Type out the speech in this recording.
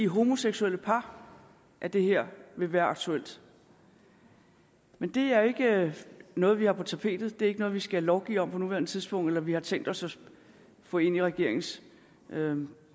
homoseksuelle par at det her vil være aktuelt men det er jo ikke noget vi har på tapetet det er ikke noget vi skal lovgive om på nuværende tidspunkt eller noget vi har tænkt os at få ind i regeringens